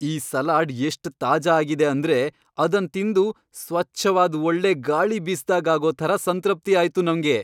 ಈ ಸಲಾಡ್ ಎಷ್ಟ್ ತಾಜಾ ಆಗಿದೆ ಅಂದ್ರೆ ಅದನ್ ತಿಂದು ಸ್ವಚ್ಛವಾದ್ ಒಳ್ಳೆ ಗಾಳಿ ಬೀಸ್ದಾಗ್ ಆಗೋ ಥರ ಸಂತೃಪ್ತಿ ಆಯ್ತು ನಂಗೆ.